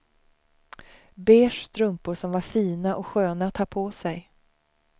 Beige strumpor som var fina och sköna att ha på sig.